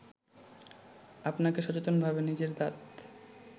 আপনাকে সচেতনভাবে নিজের দাঁত